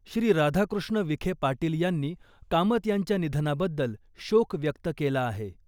श्री राधाकृष्ण विखे पाटील यांनी कामत यांच्या निधनाबद्दल शोक व्यक्त केला आहे.